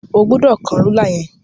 O ò gbọdọ̀ kán rúlà yẹn.